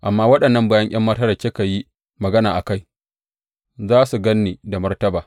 Amma waɗannan bayi ’yan matan da kika yi magana a kai, za su gan ni da martaba.